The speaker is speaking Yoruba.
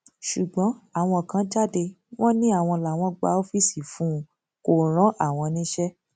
ṣùgbọn àwọn kan jáde wọn ni àwọn làwọn gba ọfíìsì fún un kó rán àwọn níṣẹ